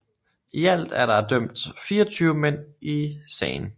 I alt er der dømt 24 mænd i sagen